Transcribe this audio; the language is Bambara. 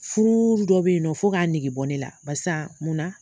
Furu dɔ bɛ yen nɔ fo k'a negebɔ ne la barisa munna